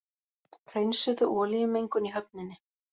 Hreinsuðu olíumengun í höfninni